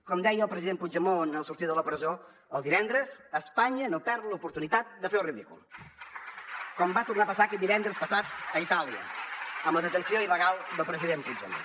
com deia el president puigdemont al sortir de la presó el divendres espanya no perd l’oportunitat de fer el ridícul com va tornar a passar aquest divendres passat a itàlia amb la detenció il·legal del president puigdemont